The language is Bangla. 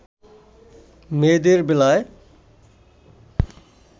মেয়েদের বেলায়